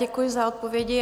Děkuji za odpovědi.